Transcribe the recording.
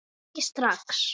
Ekki strax.